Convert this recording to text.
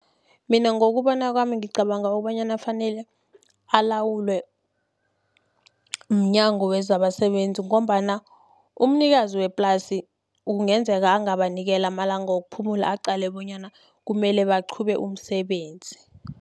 Mina ngokubona kwami ngicabanga kobanyana fanele alawulwe mNyango wezabaSebenzi, ngombana umnikazi weplasi kungenzeka angabanikela amalanga wokuphumula, aqale bonyana kumele baqhube umsebenzi.